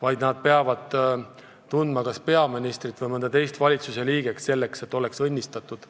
Selle asemel peab tundma kas peaministrit või mõnda teist valitsusliiget, selleks et saada õnnistatud.